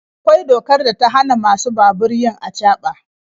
Akwai dokar da ta hana masu babur yin acaba.